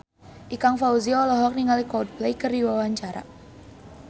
Ikang Fawzi olohok ningali Coldplay keur diwawancara